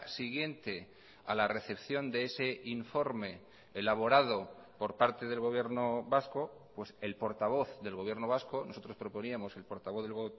siguiente a la recepción de ese informe elaborado por parte del gobierno vasco pues el portavoz del gobierno vasco nosotros proponíamos el portavoz del